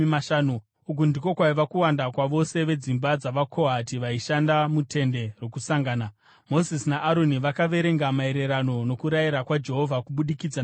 Uku ndiko kwaiva kuwanda kwavose vedzimba dzavaKohati vaishanda muTende Rokusangana. Mozisi naAroni vakavaverenga maererano nokurayira kwaJehovha kubudikidza naMozisi.